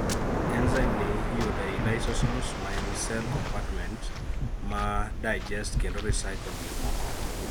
Enzyme ni iyudo ei lysosomes, maen cell compartments ma digest kendo recycle gikmoko